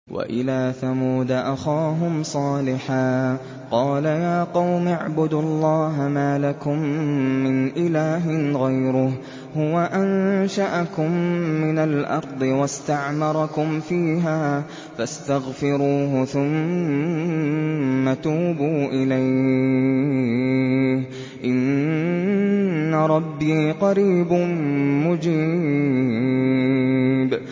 ۞ وَإِلَىٰ ثَمُودَ أَخَاهُمْ صَالِحًا ۚ قَالَ يَا قَوْمِ اعْبُدُوا اللَّهَ مَا لَكُم مِّنْ إِلَٰهٍ غَيْرُهُ ۖ هُوَ أَنشَأَكُم مِّنَ الْأَرْضِ وَاسْتَعْمَرَكُمْ فِيهَا فَاسْتَغْفِرُوهُ ثُمَّ تُوبُوا إِلَيْهِ ۚ إِنَّ رَبِّي قَرِيبٌ مُّجِيبٌ